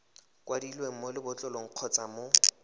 kwadilweng mo lebotlolong kgotsa mo